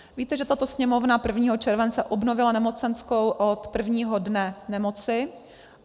Víte, že tato Sněmovna 1. července obnovila nemocenskou od prvního dne nemoci.